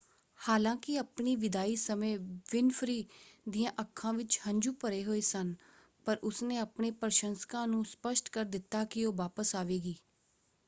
ਹਾਲਾਂਕਿ ਆਪਣੀ ਵਿਦਾਈ ਸਮੇਂ ਵਿਨਫ੍ਰੀ ਦੀਆਂ ਅੱਖਾਂ ਵਿੱਚ ਹੰਝੂ ਭਰੇ ਹੋਏ ਸਨ ਪਰ ਉਸਨੇ ਆਪਣੇ ਪ੍ਰਸ਼ੰਸਕਾਂ ਨੂੰ ਸਪਸ਼ਟ ਕਰ ਦਿੱਤਾ ਕਿ ਉਹ ਵਾਪਸ ਆਵੇਗੀ।